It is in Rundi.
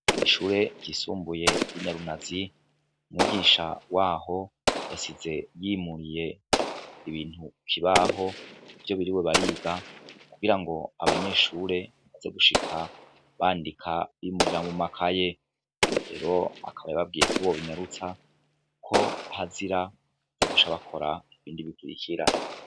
Ishure ryisumbuye y'inyarunazi umwiginsha waho yasize yimuriye ibintu kibaho ivyo biri we bariga kugira ngo abanyeshure baze gushika bandika bimurira mu makaye rero akaba yababwiye kub bobinyarutsa ko hazira zagushabakora ibindibitibikira.